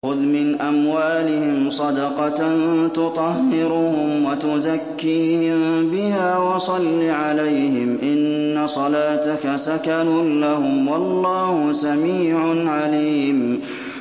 خُذْ مِنْ أَمْوَالِهِمْ صَدَقَةً تُطَهِّرُهُمْ وَتُزَكِّيهِم بِهَا وَصَلِّ عَلَيْهِمْ ۖ إِنَّ صَلَاتَكَ سَكَنٌ لَّهُمْ ۗ وَاللَّهُ سَمِيعٌ عَلِيمٌ